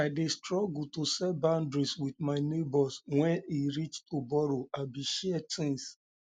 i dey struggle to um set boundaries um with um my neighbors wen e reach to borrow abi share things